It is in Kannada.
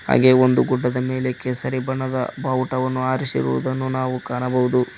ಹಾಗೇ ಒಂದು ಗುಡ್ಡದ ಮೇಲೆ ಕೇಸರಿ ಬಣ್ಣದ ಬಾವುಟವನ್ನು ಹಾರಿಸಿರುವುದನ್ನು ನಾವು ಕಾಣಬಹುದು.